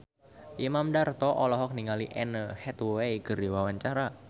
Imam Darto olohok ningali Anne Hathaway keur diwawancara